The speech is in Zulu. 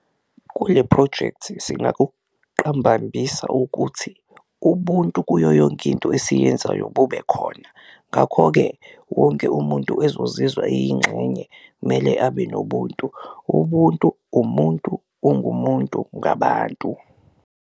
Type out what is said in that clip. Kule phrojekthi singakuqambambisa ukuthi ubuntu kuyo yonke into esiyenzayo bube khona, ngakho-ke wonke umuntu ezozizwa eyingxenye mele abe nobuntu, ubuntu umuntu ungumuntu ngabantu.